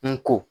N ko